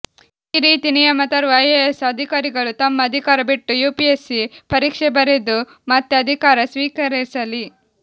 ಈ ರೀತಿ ನಿಯಮ ತರುವ ಐಎಎಸ್ ಅಧಿಕಾರಿಗಳು ತಮ್ಮ ಅಧಿಕಾರ ಬಿಟ್ಟು ಯುಪಿಎಸ್ಸಿ ಪರೀಕ್ಷೆ ಬರೆದು ಮತ್ತೆ ಅಧಿಕಾರ ಸ್ವೀಕರಿಸಲಿ